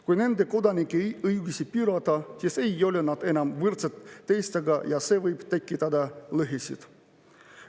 Kui nende kodanike õigusi piirata, siis ei ole nad enam teistega võrdsed ja see võib tekitada lõhesid.